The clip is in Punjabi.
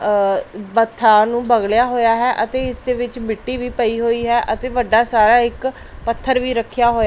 ਵਥਾਂ ਨੂੰ ਬਗਲਿਆ ਹੋਇਆ ਹੈ ਅਤੇ ਇਸ ਦੇ ਵਿੱਚ ਮਿੱਟੀ ਵੀ ਪਈ ਹੋਈ ਹੈ ਅਤੇ ਵੱਡਾ ਸਾਰਾ ਇੱਕ ਪੱਥਰ ਵੀ ਰੱਖਿਆ ਹੋਇਆ।